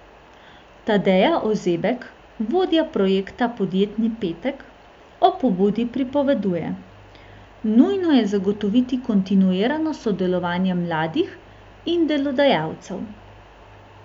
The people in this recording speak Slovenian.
Tadeja Ozebek, vodja projekta Podjetni petek, o pobudi pripoveduje: 'Nujno je zagotoviti kontinuirano sodelovanje mladih in delodajalcev.